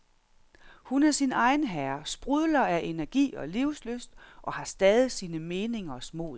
Hun er sin egen herre, sprudler af energi og livslyst og har stadig sine meningers mod.